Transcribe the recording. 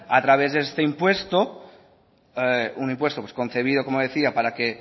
a través de este impuesto un impuesto concebido como decía para que